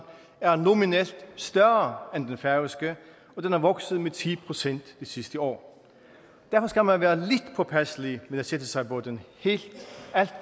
er nominelt større end den færøske og den er vokset med ti procent det sidste år derfor skal man være lidt påpasselig med at sætte sig på den alt